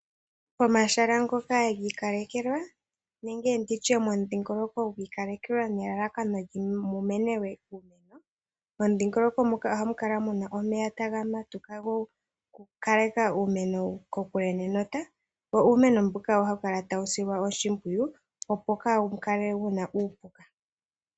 Pomashala ngoka giikalekelwa nenge nditye momudhingoloko gwiikalelwa nelalakano mu menelwe uumeno, momudhingoloko muka oha mu kala muna omeya taga matuka, go ku kaleka uumeno ko kule nenota. Wo uumeno mbuka oha wu kala ta wu silwa oshimpwuyu opo kaa wukale wu na uupuka.